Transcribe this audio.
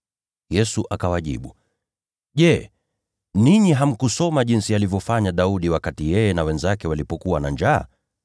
Yesu akawajibu, “Je, ninyi hamjasoma kamwe alivyofanya Daudi wakati yeye na wenzake walikuwa na njaa?